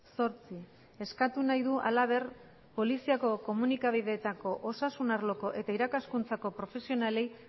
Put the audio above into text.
zortzi eskatu nahi du halaber poliziako komunikabideetako osasun arloko eta irakaskuntzako profesionalei